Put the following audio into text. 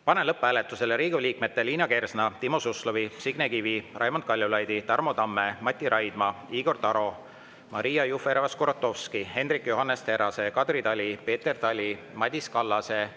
Panen lõpphääletusele Riigikogu liikmete Liina Kersna, Timo Suslovi, Signe Kivi, Raimond Kaljulaidi, Tarmo Tamme, Mati Raidma, Igor Taro, Maria Jufereva-Skuratovski, Hendrik Johannes Terrase, Kadri Tali, Peeter Tali, Madis Kallase,